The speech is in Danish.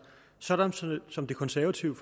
sådan som de konservative